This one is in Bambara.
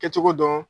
Kɛcogo dɔn